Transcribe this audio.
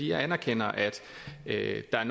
jeg anerkender at at der